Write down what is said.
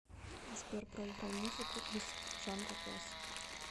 сбер проиграй музыку из жанра классика